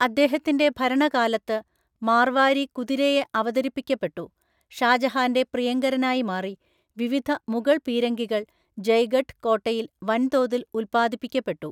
അദ്ദേഹത്തിന്റെ ഭരണകാലത്ത്, മാർവാരി കുതിരയെ അവതരിപ്പിക്കപ്പെട്ടു, ഷാജഹാന്റെ പ്രിയങ്കരനായി മാറി, വിവിധ മുഗൾ പീരങ്കികൾ ജയ്ഗഢ് കോട്ടയിൽ വൻതോതിൽ ഉൽപ്പാദിപ്പിക്കപ്പെട്ടു.